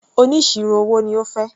Oníṣirò owó ni ó fẹ́.